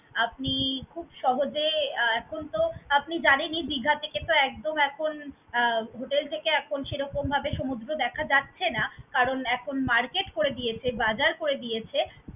আপনি খুব সহজে এখন তো আপনি জানেনই দিঘা থেকে তো একদম এখন আহ hotel থেকে এখন সেরকমভাবে সমুদ্র দেখা যাচ্ছে না কারণ এখন market করে দিয়েছে, বাজার করে দিয়েছে।